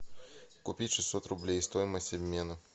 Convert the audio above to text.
купить шестьсот рублей стоимость обмена